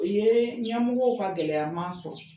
O ye ɲamɔgɔw ka gɛlɛya man sɔrɔ